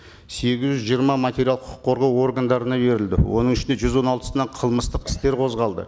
сегіз жүз жиырма материал құқық қорғау органдарына берілді оның ішінде жүз он алтысына қылмыстық істер қозғалды